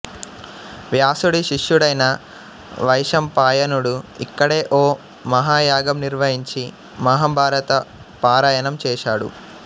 వ్యాసుడి శిష్యుడైన వైశంపాయనుడు ఇక్కడే ఓ మహాయాగం నిర్వహించి మహాభారత పారాయణం చేశాడు